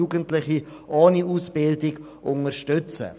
Jugendliche ohne Ausbildung werden unterstützt.